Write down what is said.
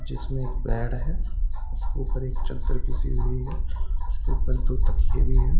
जिसमें एक बेड है जिसके ऊपर एक चद्दर बिछी हुई है तो उसके ऊपर दो तकिये भी हैं ।